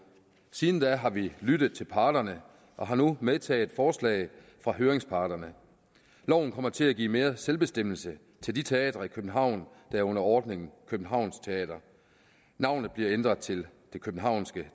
siden da har vi lyttet til parterne og har nu medtaget forslaget fra høringsparterne loven kommer til at give mere selvbestemmelse til de teatre i københavn der er under ordningen københavns teater navnet bliver ændret til det københavnske